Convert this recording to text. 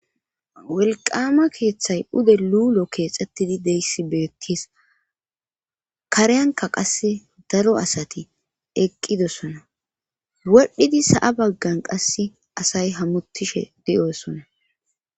welqama keeththay ude luulo keexxettidi deyssi beettis kareyanka qasse daro asati eqqidossona wodhidi sa7a baggan qasse asay hamutishe di7osona